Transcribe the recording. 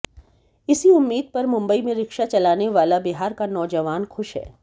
इसी उम्मीद पर मुंबई में रिक्शा चलाने वाला बिहार का नौजवान खुश है